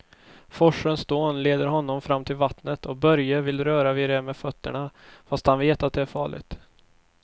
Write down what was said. Forsens dån leder honom fram till vattnet och Börje vill röra vid det med fötterna, fast han vet att det är farligt.